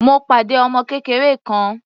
Mo pàdé ọmọ kékeré kan.